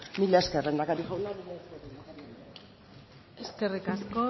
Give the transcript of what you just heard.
mila esker lehendakari jauna mila esker lehendakaria eskerrik asko